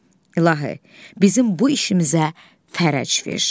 İlahi, bizim bu işimizə fərəc ver.